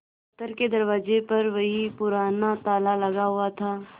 दफ्तर के दरवाजे पर वही पुराना ताला लगा हुआ था